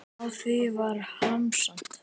Á því var hamast.